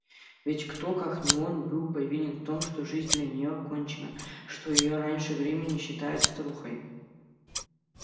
ведь кто как не он был повинен в том что жизнь для нее кончена что её раньше времени считают старухой